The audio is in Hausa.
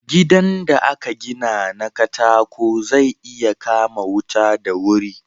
Gidan da aka gina na katako zai iya kama wuta da wuri